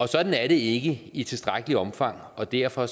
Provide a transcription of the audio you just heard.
sådan er det ikke i tilstrækkeligt omfang og derfor